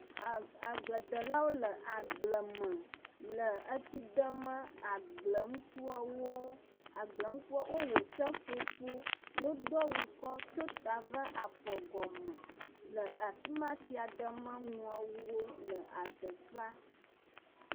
Agble ɖelawo le agbalẽ me, le etsi ɖem agble nukuawo. Agble nukua wo wɔ seƒoƒo, ye wò do awu tso tã va afɔ gɔme, le afima tsia ɖem nuawo le ateƒea.